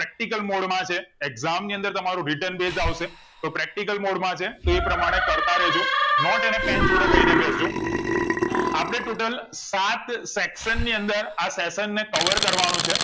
Practical mode માં છે exam ની અંદર તમારું wrriten base આવશે તો practical mode છે એ પ્રમાણે કર તા રે જો નોટે અને pen જોડે લાય ને બેસ જો અપને total સાત section ની અંદર આ session ને cover કરવા નો છે